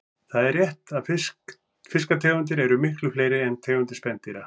Það er rétt að fiskategundir eru miklu fleiri en tegundir spendýra.